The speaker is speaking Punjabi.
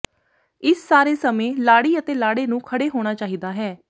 ਇਸ ਸਾਰੇ ਸਮੇਂ ਲਾੜੀ ਅਤੇ ਲਾੜੇ ਨੂੰ ਖੜ੍ਹੇ ਹੋਣਾ ਚਾਹੀਦਾ ਹੈ